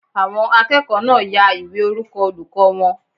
Àwọn akẹ́kọ̀ọ́ náà ya ìwé orúkọ olùkọ́ wọn